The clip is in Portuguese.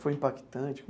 Foi impactante?